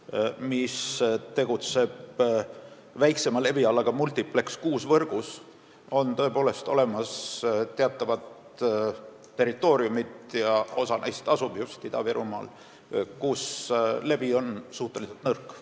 ETV+ tegutseb väiksema levialaga võrgus Multipleks 6 ja teatud territooriumidel on selle levi suhteliselt nõrk.